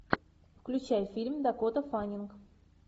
включай фильм дакота фаннинг